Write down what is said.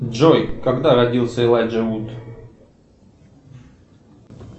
джой когда родился элайджа вуд